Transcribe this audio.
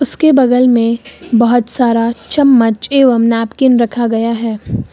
उसके बगल में बहुत सारा चम्मच एवं नैपकिन रखा गया है।